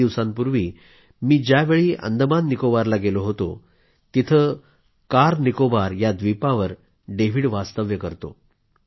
काही दिवसांपूर्वी मी ज्यावेळी अंदमाननिकोबारला गेलो होतो तिथं कारनिकोबार या व्दीपावर डेव्हिड वास्तव्य करतो